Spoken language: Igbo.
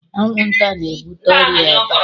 Anwụnta na-ebute ọrịa eba.